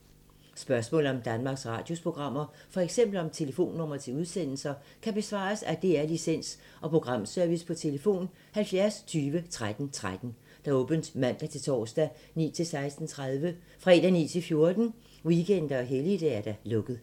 Spørgsmål om Danmarks Radios programmer, f.eks. om telefonnumre til udsendelser, kan besvares af DR Licens- og Programservice: tlf. 70 20 13 13, åbent mandag-torsdag 9.00-16.30, fredag 9.00-14.00, weekender og helligdage: lukket.